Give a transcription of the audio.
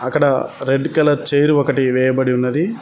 అక్కడ red colour chair ఒకటి వేయబడి ఉన్నది.